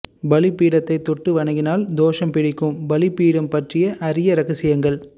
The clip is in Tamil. பலி பீடத்தை தொட்டு வணங்கினால் தோஷம் பிடிக்கும் பலி பீடம் பற்றிய அரிய இரகசியங்கள்